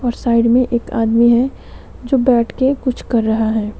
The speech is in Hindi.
और साइड में एक आदमी है जो बैठके कुछ कर रहा है।